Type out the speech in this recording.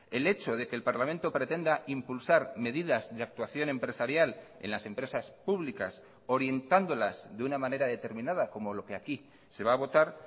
el hecho de que el parlamento pretenda impulsar medidas de actuación empresarial en las empresas públicas orientándolas de una manera determinada como lo que aquí se va a votar